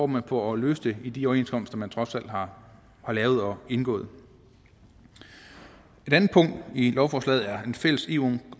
man på at løse det i de overenskomster man trods alt har lavet og indgået et andet punkt i lovforslaget er en fælles eu